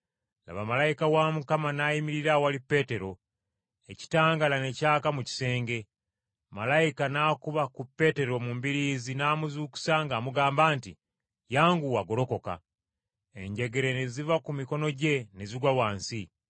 Laba malayika wa Mukama n’ayimirira awali Peetero, ekitangaala ne kyaka mu kisenge, Malayika n’akuba ku Peetero mu mbiriizi n’amuzuukusa ng’amugamba nti, “Yanguwa. Ggolokoka.” Enjegere ne ziva ku mikono gye ne zigwa wansi.